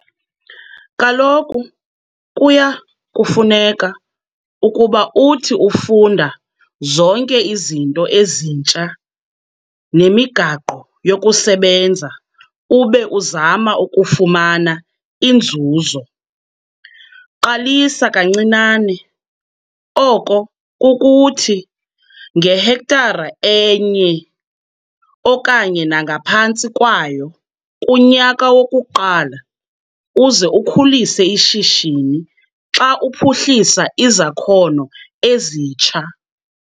Kaloku kuya kufuneka ukuba uthi ufunda zonke izinto ezintsha nemigaqo yokusebenza ube uzama ukufumana inzuzo. Qalisa kancinane, oko kukuthi, ngehektare enye okanye nangaphantsi kwayo kunyaka wokuqala uze ukhulise ishishini xa uphuhlisa izakhono ezitsha.